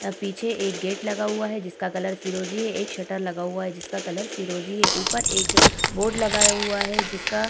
आ पीछे एक गेट लगा हुआ है जिसका कलर फिरोजी है एक शटर लगा हुआ है जिसका कलर फिरोजी है ऊपर एक बोर्ड लगया हुआ है जिसका --